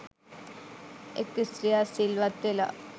එක් ස්ත්‍රියක් සිල්වත් වෙලා,